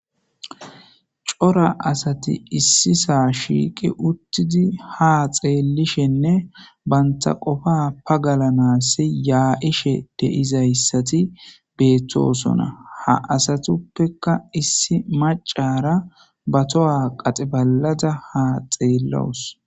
cora asati issi saa shiiqi uttidi ha xeellishenne banta qofa pagalanassi yaa7ishe deizayssati beettosona ha asatuppeka issi macara batoha qaxe balada ha xeellawus